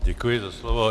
Děkuji za slovo.